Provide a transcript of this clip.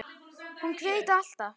Hún grætur alltaf.